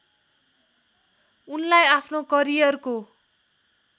उनलाई आफ्नो करियरको